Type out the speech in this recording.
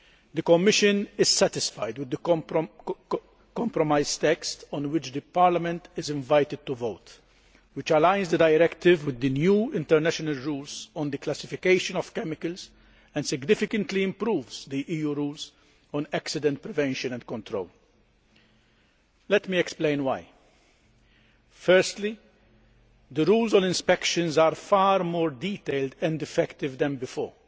The Commission is satisfied with the compromise text on which Parliament is invited to vote, which aligns the Directive with the new international rules on the classification of chemicals and significantly improves the EU rules on accident prevention and control. Let me explain why. Firstly, the rules on inspections are far more detailed and effective than before,